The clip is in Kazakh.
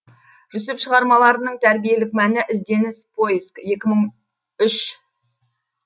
жүсіп шығармаларының тәрбиелік мәні ізденіс поиск екі мың үш